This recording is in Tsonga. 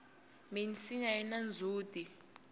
minsinya yina ndzhuti